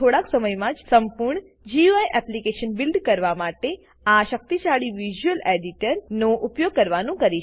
થોડાક સમયમાં જ સંપૂર્ણ ગુઈ એપ્લીકેશન બીલ્ડ કરવા માટે શક્તિશાળી વિઝ્યુઅલેડિટર વિઝ્યુઅલ એડીટર નો ઉપયોગ કરવાનું કરીશ